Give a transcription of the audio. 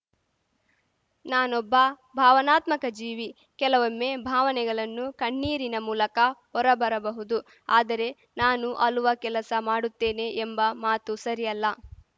ನಾನೊಬ್ಬ ಭಾವನಾತ್ಮಕ ಜೀವಿ ಕೆಲವೊಮ್ಮೆ ಭಾವನೆಗಲನ್ನು ಕಣ್ಣೀರಿನ ಮೂಲಕ ಹೊರಬರಬಹುದು ಆದರೆ ನಾನು ಅಲುವ ಕೆಲಸ ಮಾಡುತ್ತೇನೆ ಎಂಬ ಮಾತು ಸರಿಯಲ್ಲ